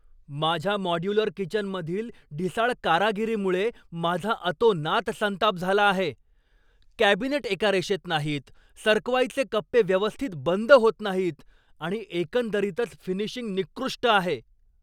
माझ्या मॉड्युलर किचनमधील ढिसाळ कारागिरीमुळे माझा अतोनात संताप झाला आहे. कॅबिनेट एका रेषेत नाहीत, सरकवायचे कप्पे व्यवस्थित बंद होत नाहीत आणि एकंदरीतच फिनिशिंग निकृष्ट आहे.